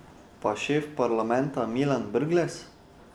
Pa šef parlamenta Milan Brglez?